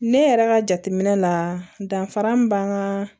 Ne yɛrɛ ka jateminɛ la danfara min b'an ka